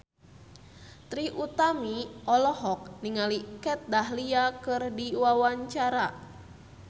Trie Utami olohok ningali Kat Dahlia keur diwawancara